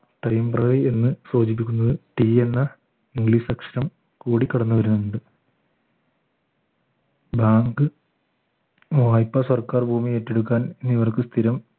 എന്ന് സൂചിപ്പിക്കുന്നത് T എന്ന english അക്ഷരം കൂടിക്കിടന്നു വരുന്നുണ്ട് bank വായ്പ സർക്കാർ ഭൂമി ഏറ്റെടുക്കാൻ ഇവർക്ക് സ്ഥിരം